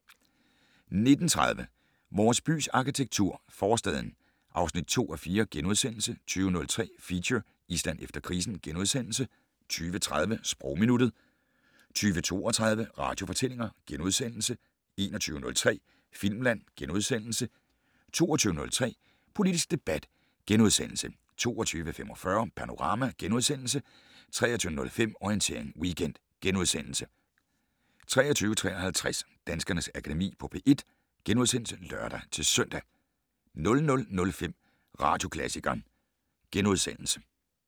19:30: Vores bys arkitektur - Forstaden (2:4)* 20:03: Feature: Island efter krisen * 20:30: Sprogminuttet 20:32: Radiofortællinger * 21:03: Filmland * 22:03: Politisk debat * 22:45: Panorama * 23:05: Orientering Weekend * 23:53: Danskernes Akademi på P1 *(lør-søn) 00:05: Radioklassikeren *